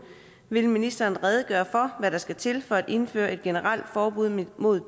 vil ministeren redegøre for hvad der skal til for at indføre et generelt forbud mod